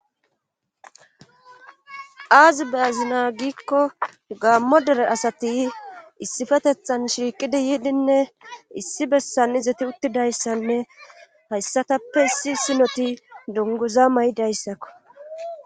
aazi be azina giikko gaammo dere asati issifetethan shiiqidi yiidinne issi bessan izeti uttidayssanne hayssatappe issi sinoti dunguza may7idayssakko